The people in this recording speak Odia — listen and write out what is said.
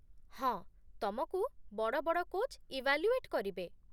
ହଁ, ତମକୁ ବଡ଼ ବଡ଼ କୋଚ୍ ଇଭାଲ୍ୟୁଏଟ୍ କରିବେ ।